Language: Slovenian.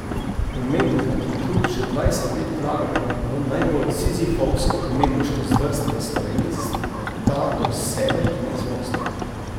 Umetnika, ki trud že dvajset let vlagata v najbolj sizifovsko umetniško zvrst v Sloveniji, sta do sebe neizprosna.